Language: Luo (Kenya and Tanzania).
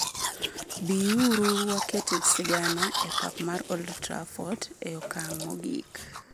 Bii uru waket sigana e pap mar Old Trafford e okang' mogik.